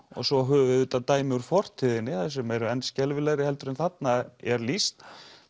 og svo höfum við auðvitað dæmi úr fortíðinni sem eru enn skelfilegri en þarna er lýst